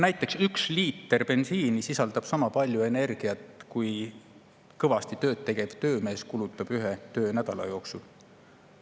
Näiteks üks liiter bensiini sisaldab sama palju energiat, kui kõvasti tööd tegev töömees kulutab ühe töönädala jooksul.